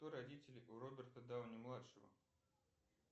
кто родители у роберта дауни младшего